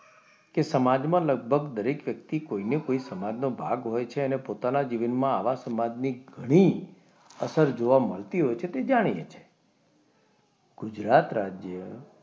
કે સમાજમાં લગભગ દરેક વ્યક્તિ કોઈને કોઈ સમાજનો ભાગ હોય છે અને પોતાના જીવનમાં આવા સમાજની ઘણી અસર જોવા મળતી હોય છે તે જાણીએ છીએ ગુજરાત રાજ્ય,